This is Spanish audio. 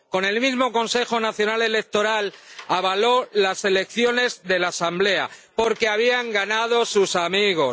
Con el mismo Consejo Nacional Electoral avaló las elecciones de la Asamblea porque habían ganado sus amigos.